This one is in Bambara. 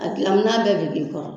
A dilan minan bɛɛ bɛ k'i kɔrɔ,